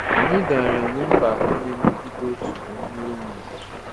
Anyị gaara enwe mba atọ na-emegide otu na nnwere onwe.